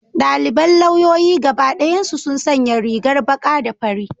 Daliban lauyoyi gaba dayansu sun sanya rigar baka da fari.